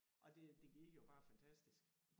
Og det det gik jo bare fantastisk